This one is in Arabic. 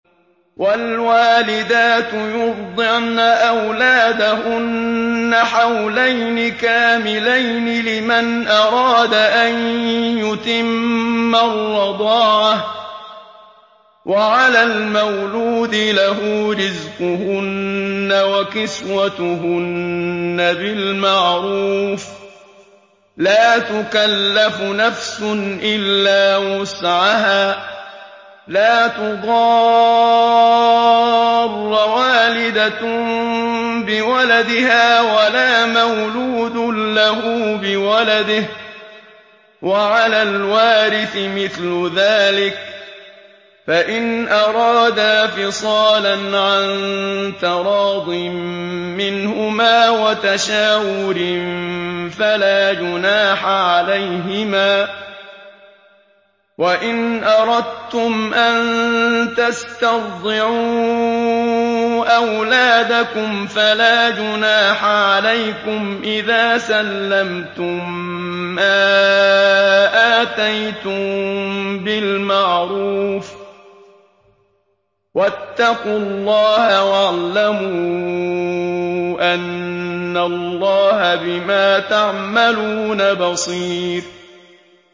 ۞ وَالْوَالِدَاتُ يُرْضِعْنَ أَوْلَادَهُنَّ حَوْلَيْنِ كَامِلَيْنِ ۖ لِمَنْ أَرَادَ أَن يُتِمَّ الرَّضَاعَةَ ۚ وَعَلَى الْمَوْلُودِ لَهُ رِزْقُهُنَّ وَكِسْوَتُهُنَّ بِالْمَعْرُوفِ ۚ لَا تُكَلَّفُ نَفْسٌ إِلَّا وُسْعَهَا ۚ لَا تُضَارَّ وَالِدَةٌ بِوَلَدِهَا وَلَا مَوْلُودٌ لَّهُ بِوَلَدِهِ ۚ وَعَلَى الْوَارِثِ مِثْلُ ذَٰلِكَ ۗ فَإِنْ أَرَادَا فِصَالًا عَن تَرَاضٍ مِّنْهُمَا وَتَشَاوُرٍ فَلَا جُنَاحَ عَلَيْهِمَا ۗ وَإِنْ أَرَدتُّمْ أَن تَسْتَرْضِعُوا أَوْلَادَكُمْ فَلَا جُنَاحَ عَلَيْكُمْ إِذَا سَلَّمْتُم مَّا آتَيْتُم بِالْمَعْرُوفِ ۗ وَاتَّقُوا اللَّهَ وَاعْلَمُوا أَنَّ اللَّهَ بِمَا تَعْمَلُونَ بَصِيرٌ